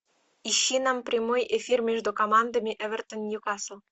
ищи нам прямой эфир между командами эвертон ньюкасл